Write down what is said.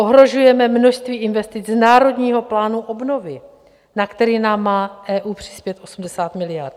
Ohrožujeme množství investic z Národního plánu obnovy, na který nám má EU přispět 80 miliard.